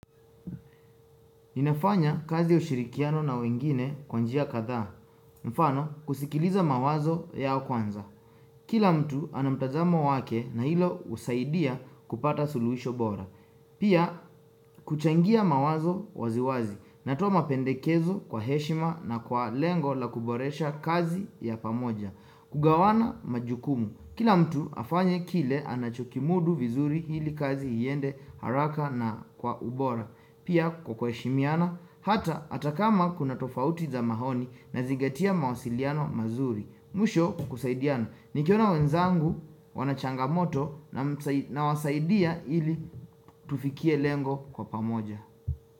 Ninafanya kazi ushirikiano na wengine kwa njia kadhaa. Mfano kusikiliza mawazo yao kwanza. Kila mtu ana mtazamo wake na hilo usaidia kupata suluhisho bora. Pia kuchangia mawazo waziwazi. Natoa mapendekezo kwa heshima na kwa lengo la kuboresha kazi ya pamoja. Kugawana majukumu. Kila mtu afanye kile anachokimudu vizuri hili kazi iende haraka na kwa ubora. Pia kwa kuheshimiana, hata hata kama kuna tofauti za maoni nazingatia mawasiliano mazuri. Mwisho kusaidiana. Nikiona wenzangu wanachangamoto na wasaidia hili tufikie lengo kwa pamoja.